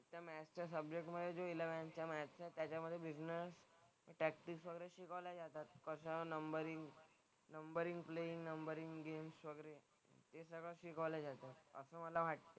तर मॅथ्सच्या सब्जेक्टमधे जो इलेव्हन्थचा मॅथ्स आहे त्याच्यामधे बिझनेस प्रॅक्टिस वगैरे शिकवलं जातात. कसं numbering numbering play, numbering games वगैरे हे सगळं शिकवलं जातं. असं मला वाटतं.